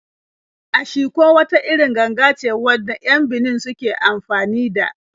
Ashiko wata irin ganga ce wanda 'yan Benin suke anfani da.